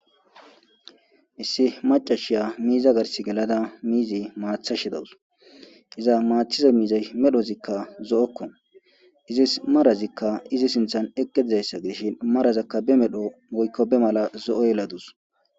Issi macashiya miiza garsi gelada miizi maatha shidawus iza maathiza miizay medhozikka zo'okko izis marazikka izi sinthan eqqedizayssa giishin marazakka be medho goykko be mala zo'o yeladus